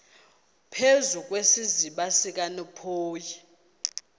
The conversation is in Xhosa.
phezu kwesiziba sikanophoyi